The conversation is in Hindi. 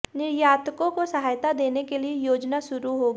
निर्यातकों को सहायता देने के लिए योजना शुरू होगी